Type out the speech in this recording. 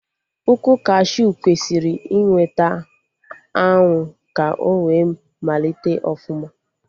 Ukwu kashiu kwesịrị ị nweta anwụ ka o wee malite ọfụma